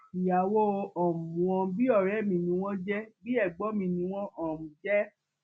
ìyàwó um wọn bíi ọrẹ mi ni wọn jẹ bíi ẹgbọn mi ni wọn um jẹ